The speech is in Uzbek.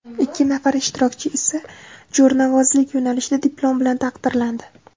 Ikki nafar ishtirokchi esa jo‘rnavozlik yo‘nalishida diplom bilan taqdirlandi.